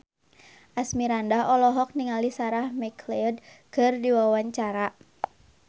Asmirandah olohok ningali Sarah McLeod keur diwawancara